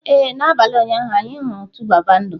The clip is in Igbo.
Ee, n'abalị ụnyaahụ, anyị hụrụ 2baba ndụ.